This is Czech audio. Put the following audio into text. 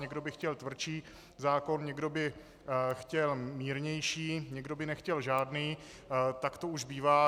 Někdo by chtěl tvrdší zákon, někdo by chtěl mírnější, někdo by nechtěl žádný, tak to už bývá.